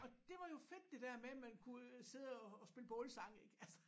Og det var jo fedt der der med man kunne sidde og og spille bålsange ik